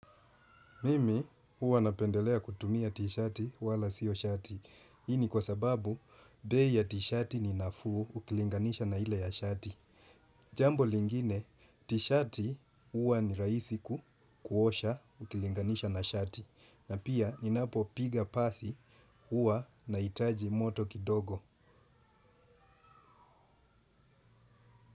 Mimi huwa napendelea kutumia t-shati wala sio shati. Hii ni kwa sababu, bei ya t-shati ninafuu ukilinganisha na hile ya shati. Jambo lingine, t-shati huwa ni raisi kuosha ukilinganisha na shati. Na pia, ninapopiga pasi huwa naitaji moto kidogo.